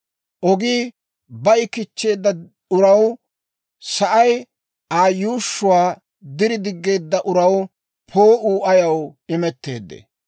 Ogii bayi kichcheedda uraw, S'oossay Aa yuushshuwaa diri diggeedda uraw poo'uu ayaw imetteedee?